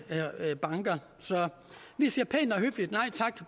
banker så vi siger pænt